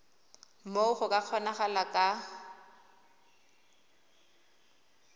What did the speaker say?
moo go ka kgonagalang ka